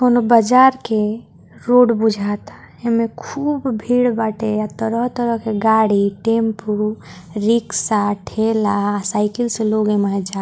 कोनो बाजार के रोड भुजाता इ में खूब भीड़ बाटे तरह-तरह के गाड़ी टैम्पू रिक्शा ठेला साइकिल से एमहे लोग जाता।